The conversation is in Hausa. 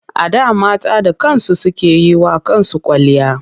A da mata da kansu suke yi wa kansu kwalliya.